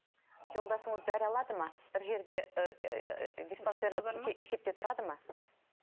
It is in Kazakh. жолдасыңыз дәрі алады ма бір жерде диспансерлік есепте тұрады ма